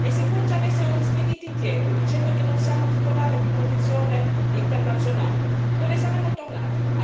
E se poi ci avessero rispediti indietro, dicendo che non siamo titolari di protezione internazionale, dove saremmo tornati?